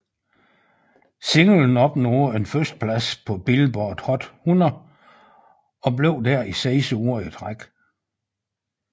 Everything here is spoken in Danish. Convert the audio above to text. Singlen opnåede en førsteplads på Billboard Hot 100 og blev der i seks uger i træk